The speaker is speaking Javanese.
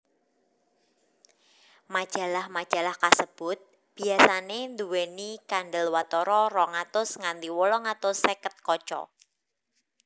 Majalah majalah kasebut biasané nduwèni kandelwatara rong atus nganti wolung atus seket kaca